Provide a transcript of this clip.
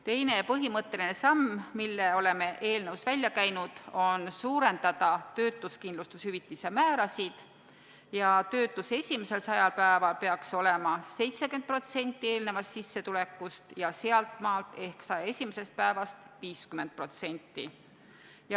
Teine ja põhimõtteline samm, mille oleme eelnõus välja käinud, on selline: suurendada töötuskindlustushüvitise määrasid ehk töötuse esimesel 100 päeval peaks olema 70% eelnevast sissetulekust ja sealtmaalt ehk 101. päevast 50%.